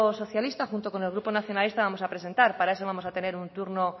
socialista junto el grupo nacionalista vamos a presentar para eso vamos tener un turno